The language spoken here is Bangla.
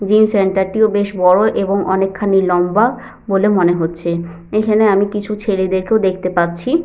জিও সেন্টার -টিও বেশ বড় এবং অনেকখানি লম্বা বলে মনে হচ্ছে এখানে আমি কিছু ছেলেদের কেও দেখতে পাচ্ছি।